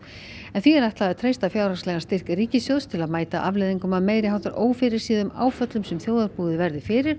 en því er ætlað að treysta fjárhagslegan styrk ríkissjóðs til að mæta afleiðingum af meiri háttar ófyrirséðum áföllum sem þjóðarbúið verði fyrir